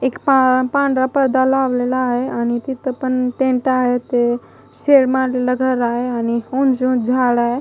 एक पा पांढरा पर्दा लावलेला आहे आणि तिथं पण टेंट आहे ते शेड मारलेलं घर आहे आणि ऊंच ऊंच झाड आहे.